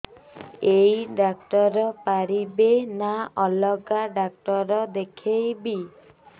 ଏଇ ଡ଼ାକ୍ତର ପାରିବେ ନା ଅଲଗା ଡ଼ାକ୍ତର ଦେଖେଇବି